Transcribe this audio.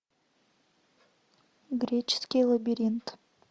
греческий лабиринт